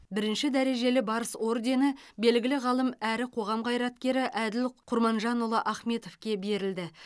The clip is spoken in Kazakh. бірінші дәрежелі барыс ордені белгілі ғалым әрі қоғам қайраткері әділ құрманжанұлы ахметовке берілді